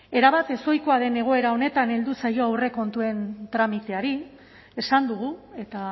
erabat ezohikoa den egoera honetan heldu zaio aurrekontuen tramiteari esan dugu eta